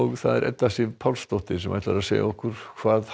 það er Edda Sif Pálsdóttir sem ætlar að segja okkur hvað